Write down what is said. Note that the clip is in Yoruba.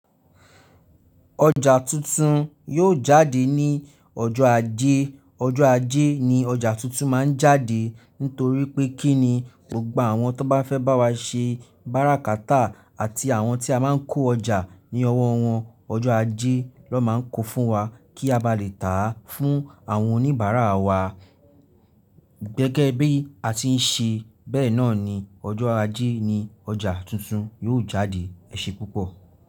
Ọjà tuntun yóò jáde ní ọjọ́ ajé. Ọjọ́ ajé ni ọjà tuntun máa ń jáde nítorí pé kí ni, gbogbo àwọn tó bá fẹ́ bá wa ṣe bárákátà àti àwọn tí a máa ń kó ọjà ní ọwọ́ wọn, ọjọ́ ajé ló máa ń kó fún wa kí a bá lè tà á fún àwọn oníbàárà wa. Gẹ́gẹ́ bí a ti ń ṣe bẹ́ẹ̀ náà ni ọjọ́ ajé ni ọjà tuntun yóò jáde. Ẹ̀ṣẹ̀ púpọ̀